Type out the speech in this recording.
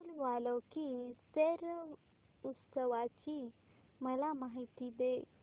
फूल वालों की सैर उत्सवाची मला माहिती दे